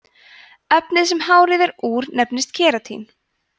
efnið sem hárið er úr nefnist keratín